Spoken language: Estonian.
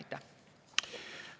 Aitäh!